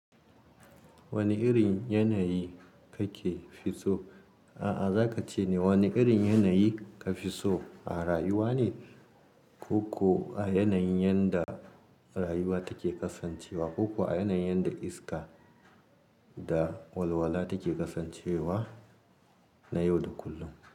Wane irin yanayi kake fi so? A'a, za ka ce ne wane irin yanayi ka fi so, a rayuwa ne ko kuwa a yanayin yadda rayuwa take kasancewa, ko kuwa a yanayin yanda iska da walwala take kasancewa na yau da kullum?